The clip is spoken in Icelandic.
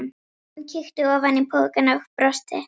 Hann kíkti ofan í pokann og brosti.